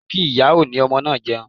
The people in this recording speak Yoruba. Jẹ́ kí ìyá oní ọmọ náà jẹun.